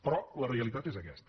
però la realitat és aquesta